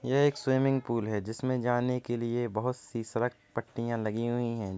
यह एक swimming pool है। जिसमें जाने के लिए बहुत सी सड़क पट्टियां लगी हुई हैं।